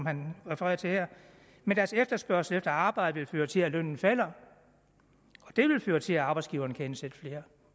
han refererer til her men deres efterspørgsel efter arbejde vil føre til at lønnen falder og det vil føre til at arbejdsgiverne kan ansætte flere